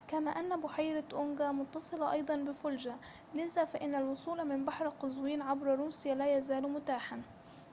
كما أن بحيرة أونجا متصلة أيضاً بفولجا لذا فإن الوصول من بحر قزوين عبر روسيا لا يزال متاحاً